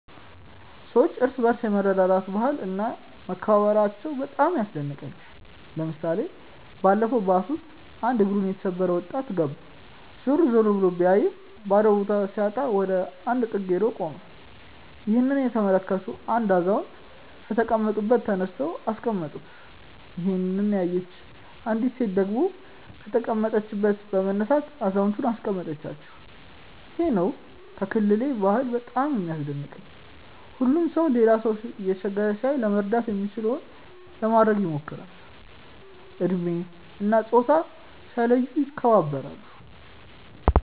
የሰዎች እርስ በርስ የመረዳዳት ባህል እና መከባበራቸው በጣም ያስደንቀኛል። ለምሳሌ ባለፈው ባስ ውስጥ አንድ እግሩን የተሰበረ ወጣት ገባ። ዞር ዞር ብሎ ቢያይም ባዶ ቦታ ሲያጣ ወደ አንድ ጥግ ሄዶ ቆመ። ይህንን የተመለከቱ አንድ አዛውንት ከተቀመጡበት ተነስተው አስቀመጡት። ይሄንን ያየች አንዲት ሴት ደግሞ ከተቀመጠችበት በመነሳት አዛውየንቱን አስቀመጠቻቸው። ይሄ ነው ከክልሌ ባህል በጣም የሚያስደንቀኝ። ሁሉም ሰው ሌላ ሰው እየተቸገረ ሲያይ ለመርዳት የሚችለውን ለማድረግ ይሞክራል። እድሜ እና ፆታ ሳይለዩ ይከባበራሉ።